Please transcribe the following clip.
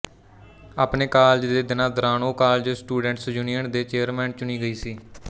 ਆਪਣੇ ਕਾਲਜ ਦੇ ਦਿਨਾਂ ਦੌਰਾਨ ਉਹ ਕਾਲਜ ਸਟੂਡੈਂਟਸ ਯੂਨੀਅਨ ਦੀ ਚੇਅਰਮੈਨ ਚੁਣੀ ਗਈ ਸੀ